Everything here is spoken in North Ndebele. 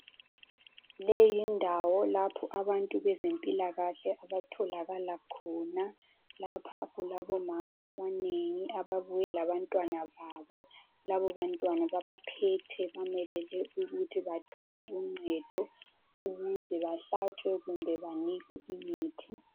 Leyi yindawo lapho abantu bezempilakahle abatholakala khona lapha kulabomama abanengi babuye labantwana babo. Labo bantwana babaphethe bamelele ukuthi bathole uncedo ukuze bahlatshwe kumbe banikwe imithi